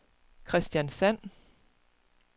Kristiansand